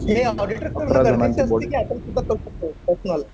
हे ऑडिटरकडनं गरजेचं असते कि आपण सुद्धा करू शकतो? पर्सनल?